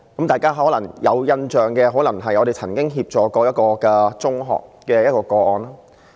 大家可能有印象的是我們曾經協助一間中學的個案。